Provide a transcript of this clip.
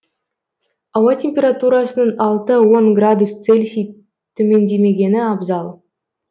ауа температурасының алты он градус цельсий төмендемегені абзал